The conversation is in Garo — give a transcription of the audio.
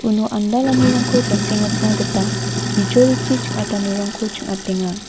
uno andalanirangko jasengatna gita bijolichi ching·atanirangko ching·atenga.